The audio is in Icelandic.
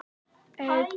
Elsku Elín.